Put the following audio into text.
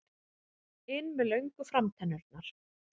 inn með löngu framtennurnar.